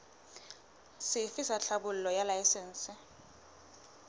sefe sa tlhahlobo ya laesense